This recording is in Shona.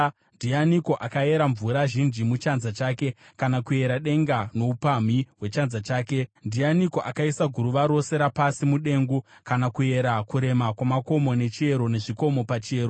Ndianiko akayera mvura zhinji muchanza chake, kana kuyera denga noupamhi hwechanza chake? Ndianiko akaisa guruva rose rapasi mudengu, kana kuyera kurema kwamakomo nechiyero, nezvikomo pachiyero?